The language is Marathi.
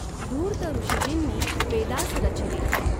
धूर्त ऋषीजींनी वेदास रचीले।